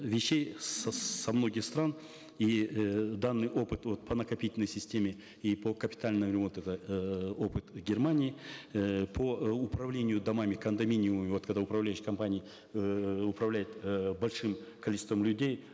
вещей со многих стран и э данный опыт вот по накопительной системе и по капитальному ремонту это эээ опыт германии э по э управлению домами кондоминиумами вот когда управляющие компании эээ управляют э большим количеством людей